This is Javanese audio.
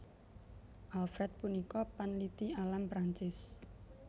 Alfred punika panliti alam Prancis